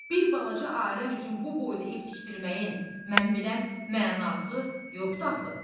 Bir balaca ailə üçün bu boyda ev tikdirməyin, mən bilən, mənası yoxdur axı.